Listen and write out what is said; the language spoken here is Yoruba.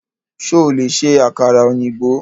Ṣo lè ṣe àkàrà ọ̀yìnbó?